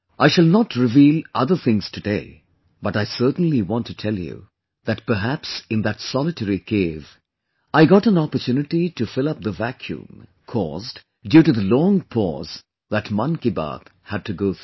I shall not reveal other things today, but I certainly want to tell you that perhaps in that solitary cave, I got an opportunity to fill up the vacuum caused due to the long pause that 'Mann Ki Baat' had to go through